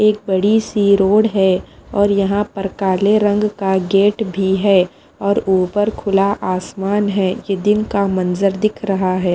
एक बड़ी सी रोड है यहाँ पर काले रंग का गेट भी है और ऊपर खुला आसमान है ये दिन का मंजर दिख रहा है।